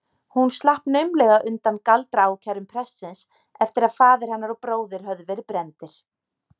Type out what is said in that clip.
Hún slapp naumlega undan galdraákærum prestsins eftir að faðir hennar og bróðir höfðu verið brenndir.